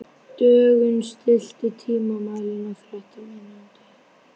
Dögun, stilltu tímamælinn á þrettán mínútur.